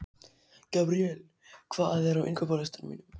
Gabríel, hvað er á innkaupalistanum mínum?